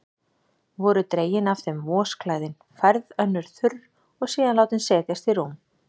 Voru dregin af þeim vosklæðin, færð önnur þurr og síðan látin setjast í rúm.